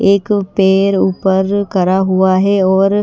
एक पैर ऊपर करा हुआ है और--